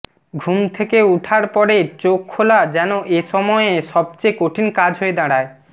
ঘুম থেকে ওঠার পরে চোখ খোলা যেন এসময়ে সবচেয়ে কঠিন কাজ হয়ে দাঁড়ায়